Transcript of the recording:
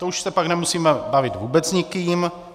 To už se pak nemusíme bavit vůbec s nikým.